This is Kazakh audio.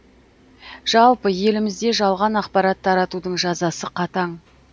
жалпы елімізде жалған ақпарат таратудың жазасы қатаң